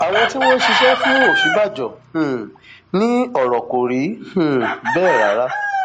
àwọn tí wọn ń ṣiṣẹ fún òsínbàjò um ní ọrọ kò rí um bẹẹ rárá